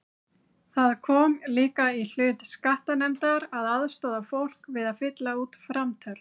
Það kom líka í hlut skattanefndar að aðstoða fólk við að fylla út framtöl.